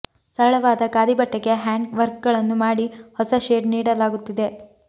ಸರಳವಾದ ಖಾದಿ ಬಟ್ಟೆಗೆ ಹ್ಯಾಂಡ್ ವರ್ಕ್ಗಳನ್ನು ಮಾಡಿ ಹೊಸ ಶೇಡ್ ನೀಡಲಾಗುತ್ತಿದೆ